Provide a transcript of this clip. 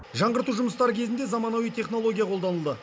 жаңғырту жұмыстары кезінде заманауи технология қолданылды